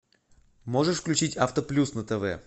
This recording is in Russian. можешь включить авто плюс на тв